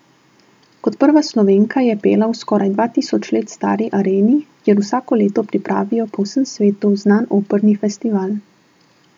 Kot prva Slovenka je pela v skoraj dva tisoč let stari areni, kjer vsako leto pripravijo po vsem svetu znan operni festival.